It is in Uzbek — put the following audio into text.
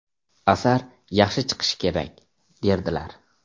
Asar yaxshi chiqishi kerak”, derdilar.